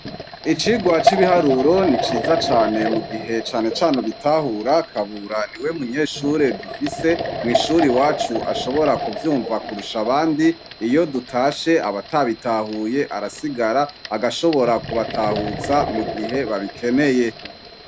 Icigwa c'ibiharuro ni ciza cane mu gihe cane cane ubitahura, Kabura ni we munyeshure dufise mw'ishure iwacu ashobora kuvyumva kurusha abandi, iyo dutashe, abatabitahuye arasigara agashobora kubatahuza mu gihe babikeneye.